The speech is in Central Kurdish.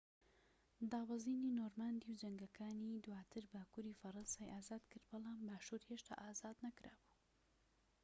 دابەزینی نۆرماندی و جەنگەکانی دواتر باکووری فەرەنسای ئازادکرد بەڵام باشور هێشتا ئازاد نەکرا بوو